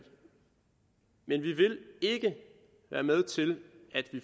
ikke være med til at